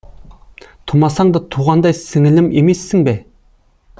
тумасаң да туғандай сіңілім емессің бе